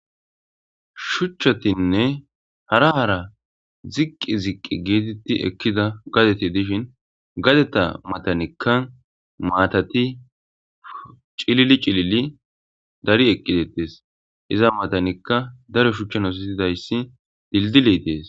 Shuchchatine haara haara ziiqi ziiqi giidi ekkida gaadetti dishshin gaadetta mattanikka maatati cillili cillili daari ekki dettes izza mattanikka daaro shuchchan ossetida dildiley deessi.